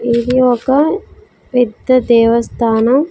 ఇది ఒక వ్యక్తి దేవస్థానం.